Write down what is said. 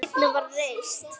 Sú seinni var reist